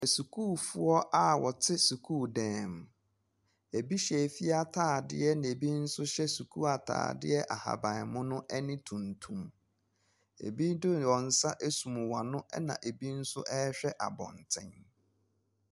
Asukuufoɔ a wɔte sukuudan mu. Ebi hyɛ fie atadeɛ na ebi nso hyɛ sukuu atadeɛ ahaban mono ne tuntum. Ebi de wɔn nsa asum wɔn ano, ɛnna ebi nso rehwɛ abɔnten.